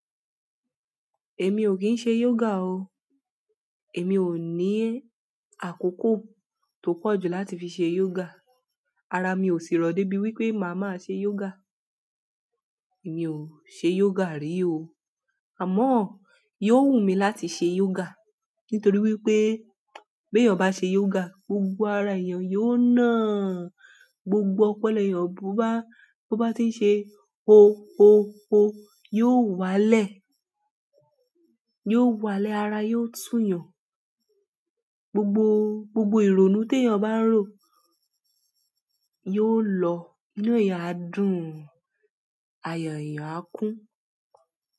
Èmi ò kín ṣe yoga o. Èmi ò ní àkókò tó pọ̀ jù láti fi ṣe yoga. Ara mi ò sì rọ̀ dé bí wípé màá máa ṣe yoga. Èmi ò ṣe yoga rí o. Àmọ́, yóò wù mí láti ṣe yoga nítorí wípé bí èèyàn bá ṣe yoga, gbogbo ara èèyàn yóò na, gbogbo ọpolo èèyàn bó bá, bó bá ti ń ṣe o o o, yóò wálẹ̀, yóò wálẹ̀, ara yóò tùyàn. Gbogbo, gbogbo ìrònú tí èèyàn bá n rò yóò lọ. Inú èèyàn á dún, ayọ̀ èèyàn á kún.